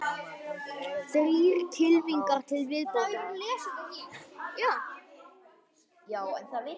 Þrír kylfingar til viðbótar